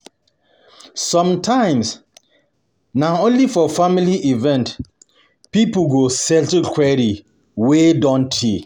Sometimes, na only for family event people go settle quarrel wey don tey.